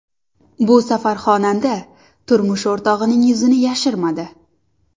Bu safar xonanda turmush o‘rtog‘ining yuzini yashirmadi.